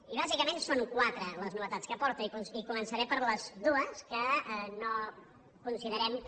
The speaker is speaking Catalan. i bàsicament són quatre les novetats que aporta i començaré per les dues que no considerem que